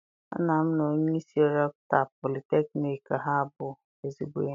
Nna m na onyeisi rektọ politekniik Ha bụ ezigbo enyi.